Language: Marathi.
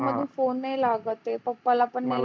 फोन नाही लागत आहे पप्पाला पण नाही